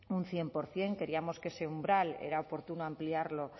un cien por ciento creíamos que ese umbral era oportuno ampliarlo